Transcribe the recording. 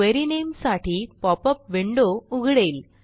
query नामे साठी popup window उघडेल